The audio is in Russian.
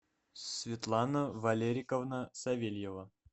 светлана валериковна савельева